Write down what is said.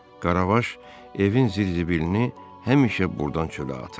Qaravaş evin zibilini həmişə burdan çölə atır.